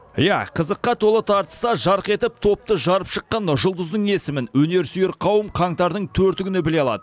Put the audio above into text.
иә қызыққа толы тартыста жарқ етіп топты жарып шыққан жұлдыздың есімін өнерсүйер қауым қаңтардың төрті күні біле алады